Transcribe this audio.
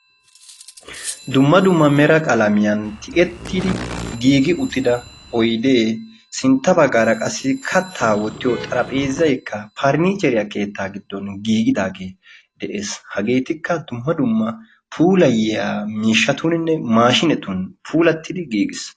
dumma dumma mera qalmiyaaan tiyettidi giigi uttida oydee sintta baggaara kattaa wottiyoo xarapheezzaykka parinichcheriyaa keettan giddon giigidaagee de'ees. hageetikka dumma dumma puulayiyaa maashinetuninne puulayiyaa maashinetun puulattidi giigis.